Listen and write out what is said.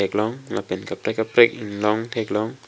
thek long lapen kaprek kaprek inglong thek long.